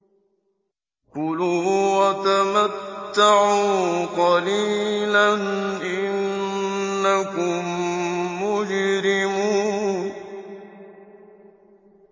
كُلُوا وَتَمَتَّعُوا قَلِيلًا إِنَّكُم مُّجْرِمُونَ